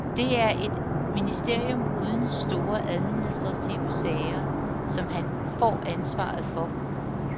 Det er et ministerium uden store administrative sager, som han får ansvaret for.